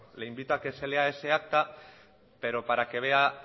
le invito a que se lea ese acta pero para que vea